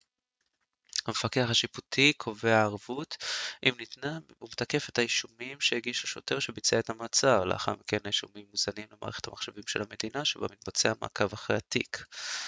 המפקח השיפוטי קובע ערבות אם ניתנה ומתקף את האישומים שהגיש השוטר שביצע את המעצר לאחר מכן האישומים מוזנים למערכת המחשבים של המדינה שבה מתבצע מעקב אחר התיק